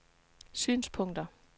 synspunkter